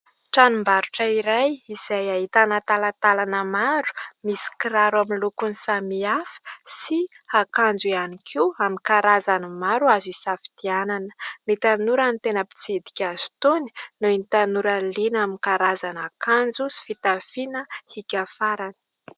Tranombarotra iray izay ahitana talantalana maro misy kiraro amin'ny lokony samihafa, sy akanjo ihany koa amin'ny karazany maro azo hisafidianana. Ny tanora no tena mpitsidika azy itony, noho ny tanora liana amin'ny karazana akanjo sy fitafiana hiaka farany.